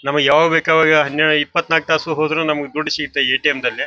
ನಮ್ಮಗೆ ಯಾವಾಗ್ ಬೇಕ್ ಆವಾಗ ಹನ್ನೆರಡು ಇಪ್ಪತ್ನಾಕ್ ತಾಸು ಹೋದ್ರು ನಮ್ಮಗ್ ದುಡ್ಡ ಸಿಗತ್ತೆ ಏ.ಟಿ.ಎಮ್. ದಲ್ಲಿ.